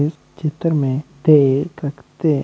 इस चित्र में देख सकते--